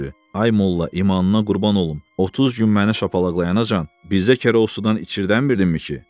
Ay molla, imanıma qurban olum, 30 gün məni şapalaqlayana qədər bizə kərəvuzdan içirtdə bilmirdinmi ki?